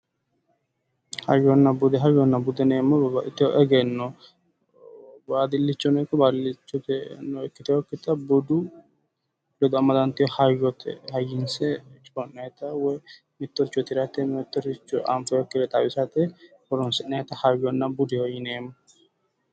Hayyonna bude, hayyonna bude yineemo woyiitte babbaxiteyo egenno badilichonno ikko badilicho ikkiteyokitta budu ledo amadanteyo hayyote biifinse mitto coyee tiratte woy mittoricho afoyiikire xawisatte horonsi'nayiitta hayyonna budeho yineemo.